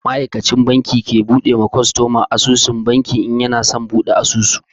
Ma'aikacin banki ke bude ma kwastoma asusun banki in yana son buɗi asusu.